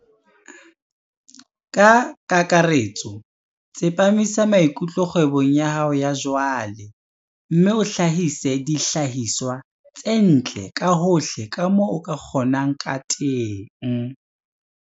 Ka kakaretso, tsepamisa maikutlo kgwebong ya hao ya jwale, mme o hlahise dihlahiswa tse ntle ka hohle ka moo o ka kgonang ka teng.